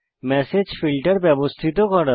message filter ব্যবস্থিত করা